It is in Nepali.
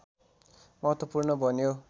महत्वपूर्ण बन्यो